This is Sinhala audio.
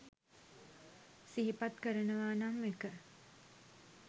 සිහිපත් කරනවා නම් 1.